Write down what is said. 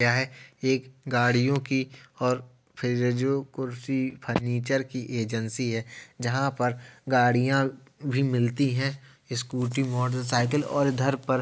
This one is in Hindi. यह एक गाडियों कि और फेज़ेजो कुर्सी फर्नीचर कि एजेंसी है। जहाँ पर गाडियाँ भी मिलती है स्कूटी मोटरसाइकिल और इधर पर --